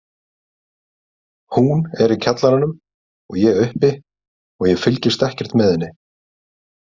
Hún er í kjallaranum og ég uppi og ég fylgist ekkert með henni.